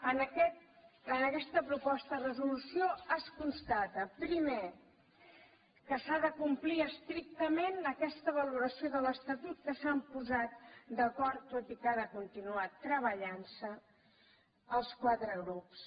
en aquesta proposta de resolució es constata primer que s’ha de complir estrictament aquesta valoració de l’estatut en què s’han posat d’acord tot i que ha de continuar treballant se els quatre grups